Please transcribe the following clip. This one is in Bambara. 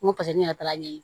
N ko paseke ne yɛrɛ taara ɲɛ